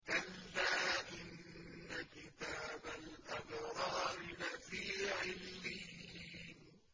كَلَّا إِنَّ كِتَابَ الْأَبْرَارِ لَفِي عِلِّيِّينَ